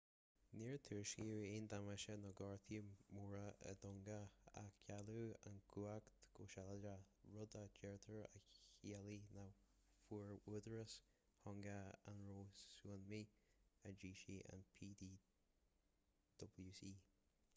níor tuairiscíodh aon damáiste nó gortuithe móra i dtonga ach cailleadh an chumhacht go sealadach rud a deirtear a chiallaigh nach bhfuair údaráis thonga an rabhadh súnámaí a d'eisigh an ptwc